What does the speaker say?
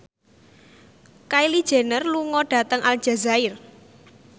Kylie Jenner lunga dhateng Aljazair